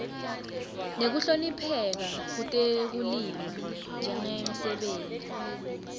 nekuhlonipheka kutekulima njengemsebenti